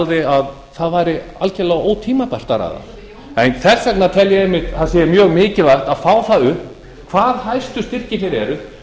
sagði að það væri algerlega ótímabært að ræða en þess vegna tel ég að það sé mjög mikilvægt að fá það upp hverjir hæstu styrkirnir eru